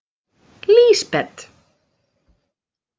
Lísbet